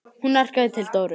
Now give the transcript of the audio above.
Hún arkaði til Dóru.